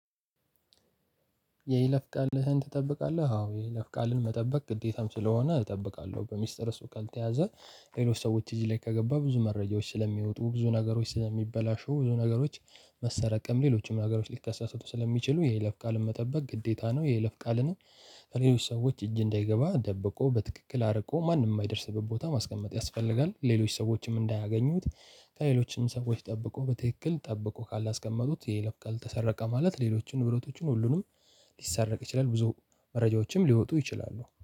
የይለፍ ቃልህን ትጠብቃለህ? አዎ የይለፍ ቃልን መጠበቅ ግዴታም ስለሆነ እጠብቃለሁ በሚስጥር እሱ ካልተያዘ ሌሎች ሰዎች እጅ ላይ ከገባ ብዙ መረጃዎች ስለሚወጡ ብዙ ነገሮች ስለሚበላሹ ብዙ ነገሮች መሰረቅም ሌሎችም ነገሮች ሊከሰቱ ስለሚችሉ የለፍ ቃልን መጠበቅ ግዴታ ነው። የለፍ ቃልንም ከሌሎች ሰዎች እጅ እንዳይገባ ደብቆ በትክክል አርቆ ማንም የማይደርስበት ቦታ ማስቀመጥ ያስፈልጋል። ሌሎች ሰዎችም እንዳያገኙት ከሌሎችም ሰዎች ጠብቆ በትክክል ጠብቆ ካላስቀመጡት የይለፍ ቃል ተሰረቀ ማለት ሌሎችን ንብረቶችም ሁሉንም ሊሳረቅ ይችላል። ብዙ መረጃዎችም ሊወጡ ይችላሉ